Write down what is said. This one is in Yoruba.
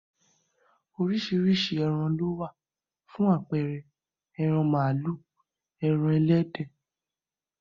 Orísirísi ẹran ló wà, fún àpẹẹre, ẹran màálù, ẹran ẹlẹ́dẹ̀